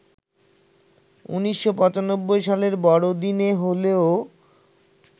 ১৯৯৫ সালের বড়দিনে হলেও